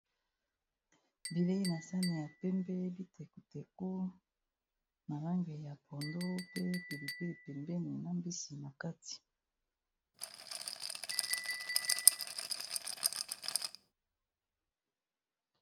bilei na sane ya pembe bitekuteko na lange ya pondo pe pelipeli pembeni na mbisi na kati